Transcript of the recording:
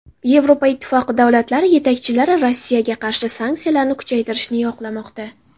Yevropa Ittifoqi davlatlari yetakchilari Rossiyaga qarshi sanksiyalarni kuchaytirishni yoqlamoqda.